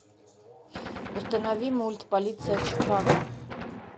установи мульт полиция чикаго